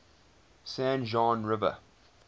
san juan river